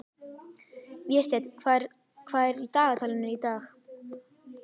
Vésteinn, hvað er í dagatalinu í dag?